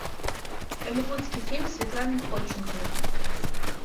голливудский фильм с светланой ходченковой